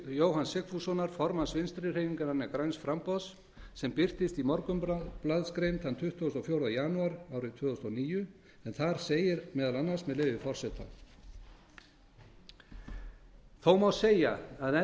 jóhanns sigfússonar formanns vinstri hreyfingarinnar græns framboðs sem birtist í morgunblaðsgrein þann tuttugasta og fjórða janúar tvö þúsund og níu en þar segir meðal annars með leyfi forseta þó má segja að